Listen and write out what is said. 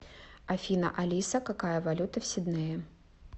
афина алиса какая валюта в сиднее